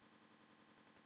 Það eru aum skipti.